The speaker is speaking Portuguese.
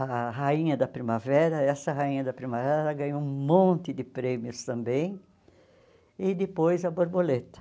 a Rainha da Primavera, essa Rainha da Primavera ela ganhou um monte de prêmios também, e depois a Borboleta.